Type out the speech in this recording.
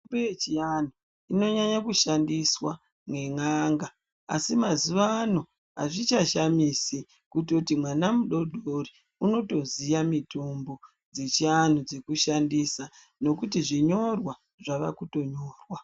Mitombo yechiantu inonyanya kushandiswa nen'anga asi mazuwanaya azvichashamisi kutoti mwana mudodori unotoziya mutombo dzechianhu dzekushandisa nekuti zvinyorwa zvakakutonyorwa.